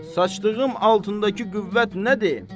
Saçdığım altındakı qüvvət nədir?